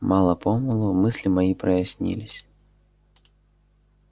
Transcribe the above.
мало-помалу мысли мои прояснились